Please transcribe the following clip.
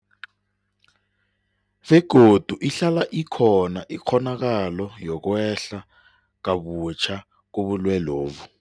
Begodu ihlala ikhona ikghonakalo yokwehla kabutjha kobulwelobu.